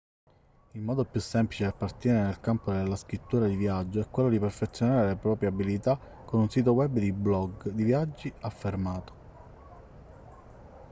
il modo più semplice per partire nel campo della scrittura di viaggio è quello di perfezionare le proprie abilità con un sito web di blog di viaggi affermato